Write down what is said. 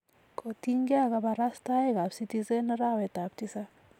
kotiny ge ak kabarustaik ab citizen arawet ab tisab